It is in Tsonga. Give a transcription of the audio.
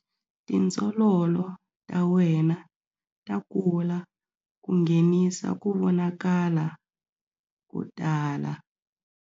Tindzololo ta wena ta kula ku nghenisa ku vonakala ko tala.